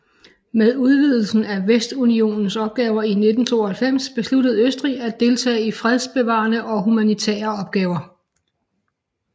Med udvidelsen af Vestunionens opgaver i 1992 besluttede Østrig at deltage i fredsbevarende og humanitære opgaver